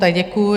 Tak děkuji.